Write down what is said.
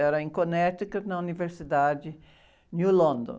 Era em Connecticut, na Universidade New London.